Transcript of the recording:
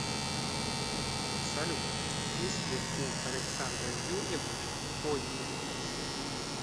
салют есть ли у александры юрьевны фобии